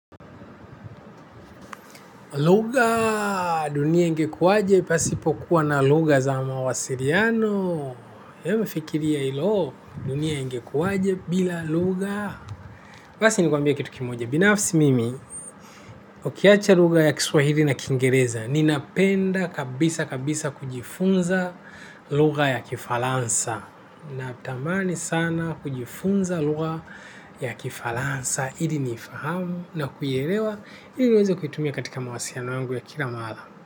Lugha, dunia ingekuwaje, pasipo kuwa na lugha za mawasiliano. Embu fikiria hilo dunia ingekuaje bila lugha basi ni kwambie kitu kimoja, binafsi mimi, ukiacha lugha ya Kiswahili na kingereza, ninapenda kabisa kabisa kujifunza lugha ya Kifaransa. Natamani sana kujifunza lugha ya Kifaransa, ili nifahamu na kuielewa ili niweze kuitumia katika mawasiliano yangu ya kila mara.